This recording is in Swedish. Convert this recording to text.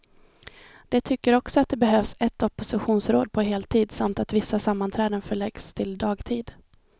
De tycker också att det behövs ett oppositionsråd på heltid, samt att vissa sammanträden förläggs till dagtid.